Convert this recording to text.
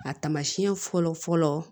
A taamasiyɛn fɔlɔ fɔlɔ